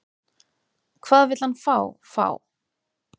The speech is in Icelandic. Hvað vill hann fá, fá?